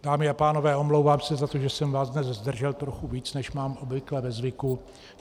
Dámy a pánové, omlouvám se za to, že jsem vás dnes zdržel trochu více, než mám obvykle ve zvyku.